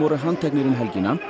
handteknir um helgina